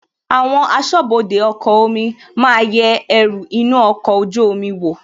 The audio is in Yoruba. Àwọn asọ́bọdè ọkọ̀ omi máa yẹ ẹrù inú ọkọ̀ ojú omi wò,